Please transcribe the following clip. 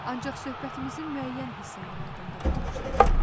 Ancaq söhbətimizin müəyyən hissələri yaddımda qalmışdı.